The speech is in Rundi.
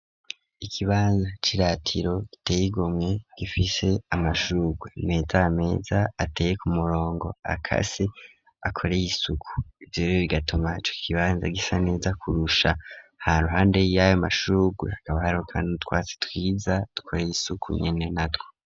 Ikibanza c'iratiro giteye igomwe gifise amashurwe imeta yameza ateye ku murongo akase akore isuku ivyorero bigatuma ico kibanza gisa neza kurusha haruhande yayo mashururwe haka hariho n'utwatsi twiza dukoreye isuku nyene natwo.